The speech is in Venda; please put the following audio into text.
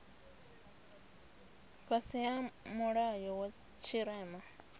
fhasi ha mulayo wa tshirema